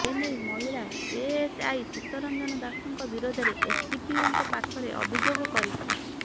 ଏ ନେଇ ମହିଳା ଏଏସଆଇ ଚିତ୍ତରଞ୍ଜନ ଦାଶଙ୍କ ବିରୋଧରେ ଏସ୍ଡିପିଓଙ୍କ ପାଖରେ ଅଭିଯୋଗ କରିଥିଲେ